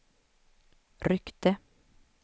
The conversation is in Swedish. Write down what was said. ryckte